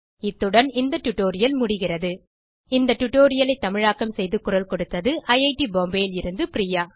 இத்துடன் இந்த டியூட்டோரியல் முடிகிறது இந்த டியூட்டோரியல் ஐ தமிழாக்கம் செய்து குரல் கொடுத்தது ஐட் பாம்பே லிருந்து பிரியா